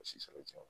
A si tɛ se o ti